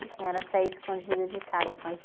A senhora saía escondida de casa com as